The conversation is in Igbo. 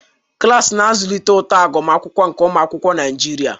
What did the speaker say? Klas na-azụlite uto agụmakwụkwọ nke ụmụ akwụkwọ Naijiria.